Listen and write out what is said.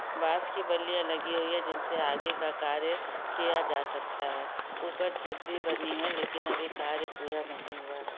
बास की बल्लिया लगी हुई है जिनसे आगे का कार्य किया जा सकता है ऊपर छत भी बनी है लेकिन अभी कार्य पूरा नहीं हुआ है।